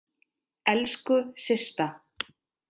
Elsku Systa!